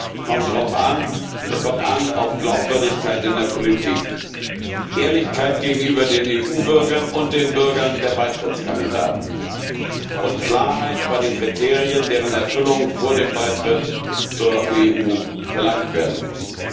Es kommt an auf Glaubwürdigkeit in der Politik, Ehrlichkeit gegenüber den EU Bürgern und den Bürgern der Beitrittskandidaten und Klarheit bei den Kriterien, deren Erfüllung vor dem Beitritt zur EU verlangt werden muss!